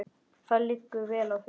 Það liggur vel á þeim.